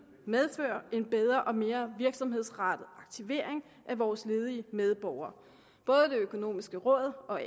medføre en bedre og mere virksomhedsrettet aktivering af vores ledige medborgere både det økonomiske råd og